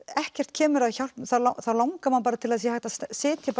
ekkert kemur að hjálp þá langar mann til að það sé hægt að setja